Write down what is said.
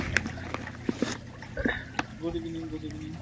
good evening, good evening